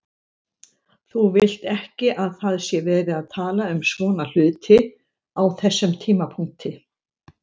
Þú vilt ekki að það sé verið að tala um svona hluti á þessum tímapunkti.